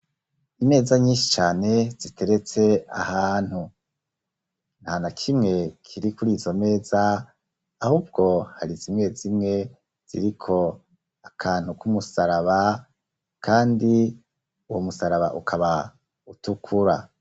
Imeza nyinshi cane ziteretse ahantu, nta na kimwe kiri kuri izo meza ahubwo hari zimwe zimwe ziriko akantu k'umusaraba kandi uwo musaraba ukaba utukura.